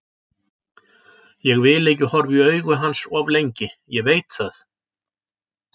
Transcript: Ég vil ekki horfa í augu hans of lengi, ég veit það.